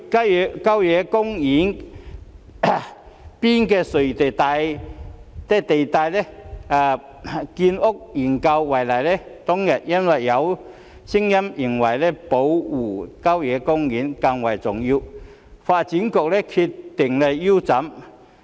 以郊野公園邊陲地帶的建屋研究為例，當日因為有聲音認為保護郊野公園更為重要，發展局便決定腰斬研究。